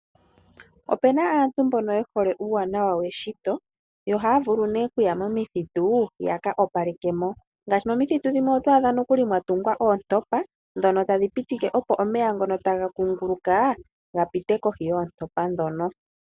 Opu na aantu mbono ye hole uuwanawa weshito, yo ohaya vulu nee okuya momithitu ya ka opaleke mo. Ngaashi momithitu shimwe ito adha mokuli mwa tungwa oontopa ndhono tadhi Pitile opo omeya ngono taga kunguluka ga pite kohi yoontopa ndhono.